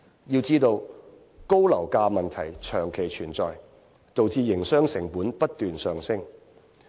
要知道，高樓價問題長期存在，導致營商成本不斷上升。